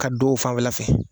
Ka don o fanfɛla fɛ